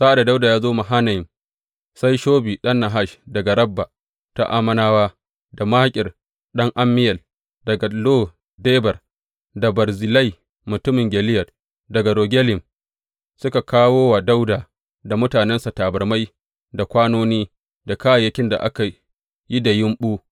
Sa’ad da Dawuda ya zo Mahanayim, sai Shobi ɗan Nahash daga Rabba ta Ammonawa, da Makir ɗan Ammiyel daga Lo Debar, da Barzillai mutumin Gileyad daga Rogelim suka kawo wa Dawuda da mutanensa tabarmai, da kwanoni, da kayayyakin da aka yi da yumɓu.